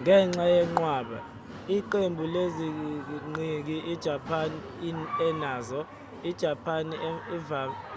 ngenxa yenqwaba/iqembu leziqhingi ijapani enazo ijapani